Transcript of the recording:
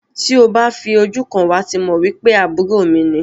Ti o ba ti fi ojú kan wá ti mọ wipe àbúrò mi ni.